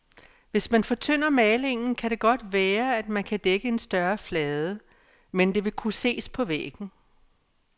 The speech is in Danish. Hvis man fortynder malingen, kan det godt være at man kan dække en større flade, men det vil kunne ses på væggen.